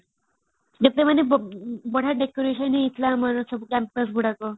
ଯେତେବେଳେ ବଢିଆ decoration ହେଇଥିଲା ଆମର ସବୁ campus ଗୁଡ଼ାକ